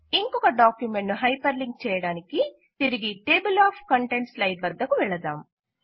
ఇంకొక డాక్యుమెంట్ ను hyperlink చేయడానికి తిరిగి టేబుల్ ఆఫ్ కంటెంట్స్ స్లైడ్ వద్దకు వెళదాం